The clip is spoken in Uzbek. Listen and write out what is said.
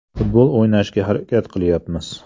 Futbol o‘ynashga harakat qilyapmiz.